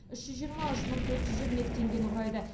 үш жүз жиырма үш мың төрт жүз жиырма екі теңгені құрайды